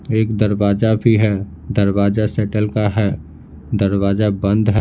एक दरवाजा भी है दरवाजा सेटल का है दरवाजा बंद है।